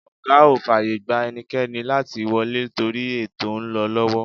Ọ̀gá ò fàyè gba ẹnikẹ́ni láti wọlé torí ètò ń lọ lọ́wọ́.